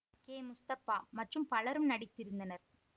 K Mustafa மற்றும் பலரும் நடித்திருந்தனர்